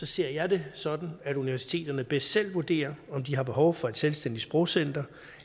ser jeg det sådan at universiteterne bedst selv vurderer om de har behov for et selvstændigt sprogcenter